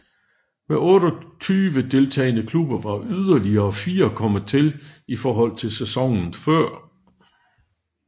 Med 28 deltagende klubber var yderligere fire kommet til i forhold til sæsonen før